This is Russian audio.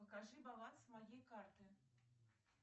покажи баланс моей карты